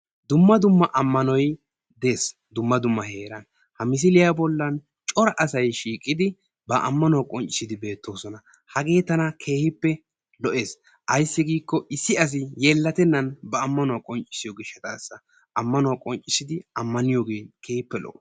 Dumma dumma ammanoy dees dumma dumma heeran ha misiliya bollan Cora asay shiiqidi ba ammaanuwa qoncciisidi beettoosona hagee tana keehippe lo'ees; ayssi giikko issi asi yeellatenan ba ammaanuwa qoncciisiyo gishshataassa ammaanuwa qonccisidi ammaniyooge keehippe lo'o.